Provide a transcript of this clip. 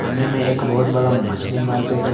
सामने में एक बहोत बड़ा मछली मार्केट है।